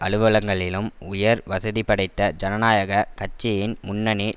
அலுவலங்களிலும் உயர் வசதிபடைத்த ஜனநாயக கட்சியின் முன்னணி